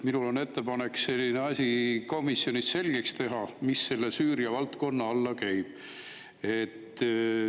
Minul on ettepanek komisjonis selgeks teha, mis selle Süüriat alla käib.